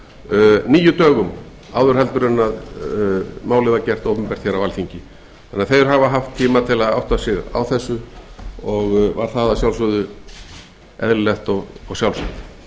þýðingu níu dögum áður en málið var gert opinbert hér á alþingi þeir hafa því haft tíma til að átta sig á þessu og er það bæði eðlilegt og sjálfsagt